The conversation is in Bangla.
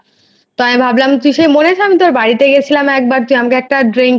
তো আমি ভাবলাম তুই মনে আছিস আমি তোর বাড়িতে গিয়েছিলাম তুই একবার তুই একটা drink